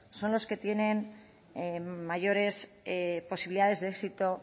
son los que tienen mayores posibilidades de éxito